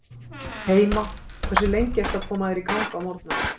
heima Hversu lengi ertu að koma þér í gang á morgnanna?